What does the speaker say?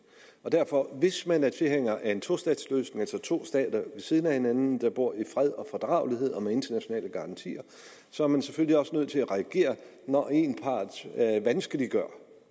hvis man er tilhænger af en tostatsløsning altså to stater ved siden af hinanden der bor i fred og fordragelighed og med internationale garantier så er man selvfølgelig også nødt til at reagere når en part vanskeliggør